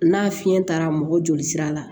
N'a fiɲɛ taara mɔgɔ joli sira la